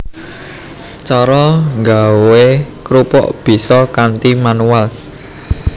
Cara nggawé krupuk bisa kanthi manual